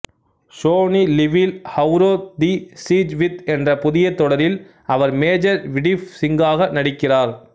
Sony லிவில் Avrodh the siege within என்ற புதிய தொடரில் அவர் மேஜர் விடிப் சிங்காக நடிக்கிறார்